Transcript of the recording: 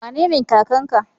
Wanene kakan ka?